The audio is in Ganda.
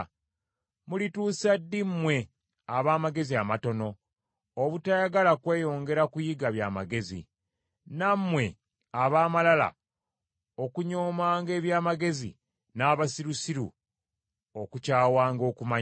Mulituusa ddi mmwe ab’amagezi amatono obutayagala kweyongera kuyiga by’amagezi, nammwe ab’amalala okunyoomanga eby’amagezi n’abasirusiru okukyawanga okumanya?